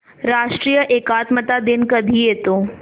राष्ट्रीय एकात्मता दिन कधी येतो